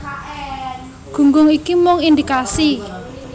Gunggung iki mung indikasi